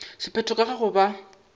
sephetho ka ga go ba